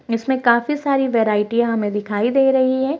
इसमें काफी साडी हमे दिखाई दे रही है।